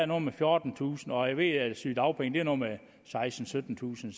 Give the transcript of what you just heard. noget med fjortentusind kr og jeg ved at sygedagpengene er noget med sekstentusind